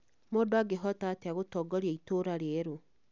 mũndũ angĩhota atĩa gũtongoria itũũra rĩerũ